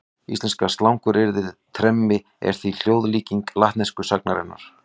Íslenska slanguryrðið tremmi er því hljóðlíking latnesku sagnarinnar.